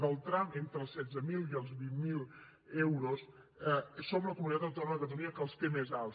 el tram entre els setze mil i els vint mil euros som la comunitat autònoma catalunya que el té més alt